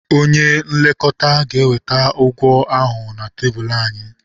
Onye nlekọta ga-eweta ụgwọ ahụ na tebụl anyị.